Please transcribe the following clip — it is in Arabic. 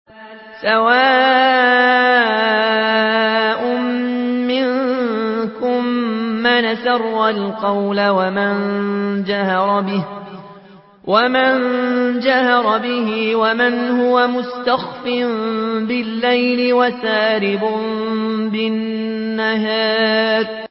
سَوَاءٌ مِّنكُم مَّنْ أَسَرَّ الْقَوْلَ وَمَن جَهَرَ بِهِ وَمَنْ هُوَ مُسْتَخْفٍ بِاللَّيْلِ وَسَارِبٌ بِالنَّهَارِ